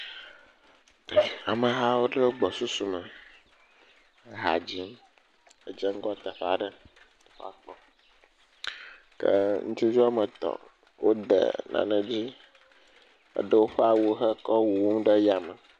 Amehawo ɖe woƒe gbɔsusu me eha dzim edzeŋgɔ teƒe aɖe ke ŋutsuviwo woame etɔ̃ wode nane ɖi eɖe woƒe awuwo ewuwu yame.